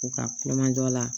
U ka kulonkɛ jɔ la